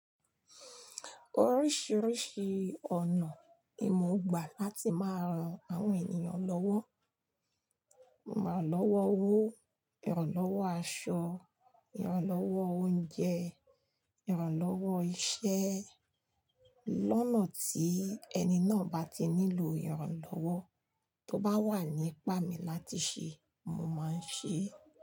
Oríṣiríṣi ọ̀nà ni mo gbà láti máa ran àwọn ènìyàn lọ́wọ́. Irań lọ́wọ́ owó, irán lọ́wọ́ aṣọ, irán lọ́wọ́ oúnjẹ, irán lọ́wọ́ iṣẹ́. Lónà tí ẹni náà bá ti nílò ìrànlọ́wọ́ tó bá wà ní ìpá mi láti ṣe, mo máa ń ṣe é.